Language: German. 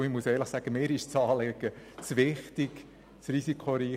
Das Anliegen ist mir zu wichtig, und Pokern ist zu risikoreich.